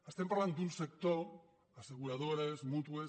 estem parlant d’un sector asseguradores mútues